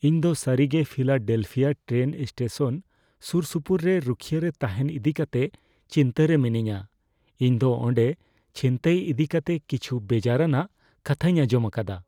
ᱤᱧ ᱫᱚ ᱥᱟᱹᱨᱤᱜᱮ ᱯᱷᱤᱞᱟᱰᱮᱞᱯᱷᱤᱭᱟ ᱴᱨᱮᱱ ᱥᱴᱮᱥᱚᱱ ᱥᱩᱨᱥᱩᱯᱩᱨ ᱨᱮ ᱨᱩᱠᱷᱤᱭᱟᱹ ᱨᱮ ᱛᱟᱦᱮᱱ ᱤᱫᱤ ᱠᱟᱛᱮ ᱪᱤᱱᱛᱟᱹᱨᱮ ᱢᱤᱱᱟᱹᱧᱟ; ᱤᱧᱫᱚ ᱚᱸᱰᱮ ᱪᱷᱤᱱᱛᱟᱹᱭ ᱤᱫᱤᱠᱟᱛᱮ ᱠᱤᱪᱷᱩ ᱵᱮᱡᱟᱨᱟᱱᱟᱜ ᱠᱟᱛᱷᱟᱧ ᱟᱸᱡᱚᱢ ᱟᱠᱟᱫᱟ ᱾